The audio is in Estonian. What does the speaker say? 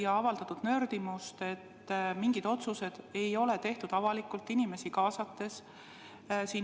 On avaldatud nördimust, et mingid otsused ei ole tehtud avalikult, inimesi kaasates.